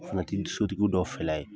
O fana ki dusu dugu dɔ fila ye